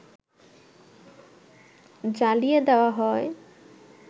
জ্বালিয়ে দেওয়া হয়